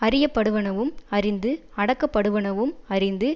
அறியப்படுவனவும் அறிந்து அடக்கப்படுவனவும் அறிந்து